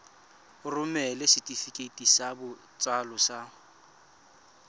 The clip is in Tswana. romela setefikeiti sa botsalo sa